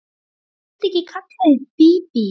En ég vildi ekki kalla þig Bíbí.